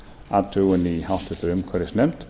athugun í háttvirtri umhverfisnefnd